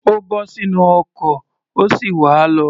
Ó bọ́ sínú ọkọ̀, ó sì wá̀ á lọ.